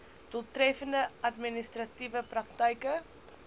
doeltreffende administratiewe praktyke